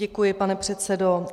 Děkuji, pane předsedo.